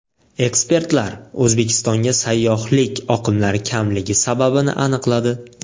Ekspertlar O‘zbekistonga sayyohlik oqimlari kamligi sababini aniqladi.